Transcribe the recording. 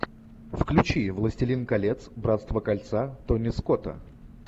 включи властелин колец братство кольца томми скотта